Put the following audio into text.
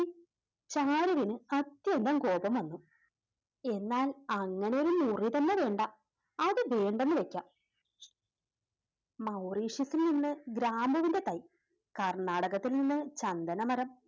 ചാരുവിന് അത്യന്തം കോപം വന്നു എന്നാൽ അങ്ങനെയൊരു മുറി തന്നെ വേണ്ട അത് വേണ്ടെന്നു വെക്കാം മൗറീഷ്യത്തിൽ നിന്ന് ഗ്രാമ്പുവിൻറെ തൈ കർണ്ണാടകത്തിൽ നിന്ന് ചന്ദന മരം